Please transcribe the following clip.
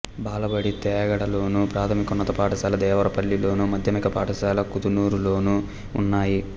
బాలబడి తేగడలోను ప్రాథమికోన్నత పాఠశాల దేవరపల్లిలోను మాధ్యమిక పాఠశాల కుదునూరులోనూ ఉన్నాయి